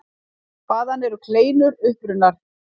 Hvaðan eru kleinur upprunnar?